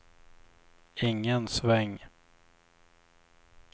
ingen sväng